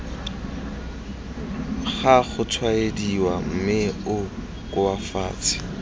ga gotshwaediwa mme o koafatse